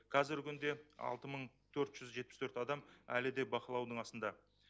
қазіргі күнде алты мың төрт жүз жетпіс төрт адам әлі де бақылаудың астында